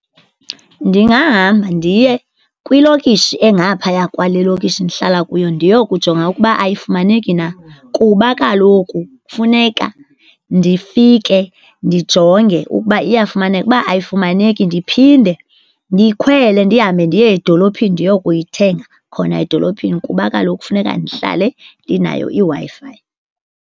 Ndingahamba ndiye kwilokishi engaphaya kwale lokishi ndihlala kuyo ndiyokujonga ukuba ayifumaneki na kuba kaloku funeka ndifike ndijonge ukuba iyafumaneka. Uba ayifumaneki ndiphinde ndikhwele ndihambe ndiye edolophini ndiyokuyithenga khona edolophini kuba kaloku funeka ndihlale ndinayo iWi-Fi.